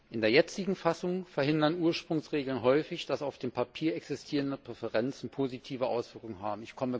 In der jetzigen Fassung verhindern Ursprungsregeln häufig, dass auf dem Papier existierende Präferenzen positive Auswirkungen haben.